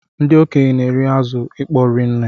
Ndị okenye na-eri azụ ịkpọ ri nne.